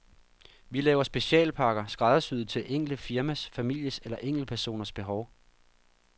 Vi laver specialpakker, skræddersyet til det enkelte firmas, families eller enkeltpersoners behov.